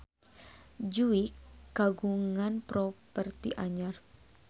Jui kagungan properti anyar